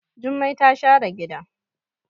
Jummai ta share gida.